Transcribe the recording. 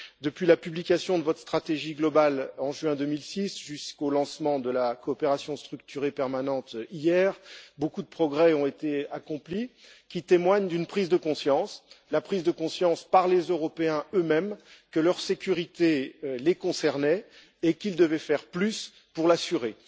Depuis la publication de votre stratégie globale en juin 2006 jusqu'au lancement de la coopération structurée permanente hier, beaucoup de progrès ont été accomplis, témoignant d'une prise de conscience, la prise de conscience par les Européens eux-mêmes que leur sécurité les concernait et qu'ils devaient faire plus pour l'assurer.